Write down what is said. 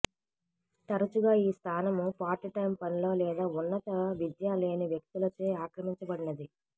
తరచుగా ఈ స్థానం పార్ట్ టైమ్ పనిలో లేదా ఉన్నత విద్య లేని వ్యక్తులచే ఆక్రమించబడినది